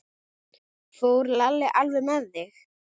Fór Lalli alveg með þig?